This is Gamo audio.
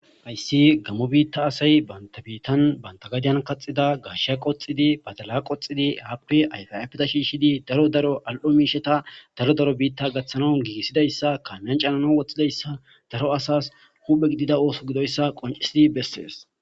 Hayissi gamo bitta asayi banta bittan banta gaddiyan kaxxida gashiya qoxxidi baddala qoxxidi appe ayifa ayiffeta shishidi daro daro all''o mishata daro daro bitta gaththanaw gigisidayisa gannan cannanaw woththidayisa daro asasi huphphe gidida oththo giddoyisa qonccisidi besses.